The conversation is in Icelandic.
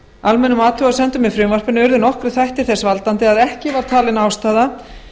almennum athugasemdum með frumvarpinu urðu nokkrir þættir til þess að ekki var talin ástæða